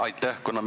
Aitäh!